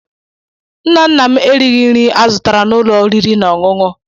Nna nna m erighi nri azụtara n'ụlọ oriri na ọṅụṅụ.